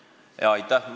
Aitäh!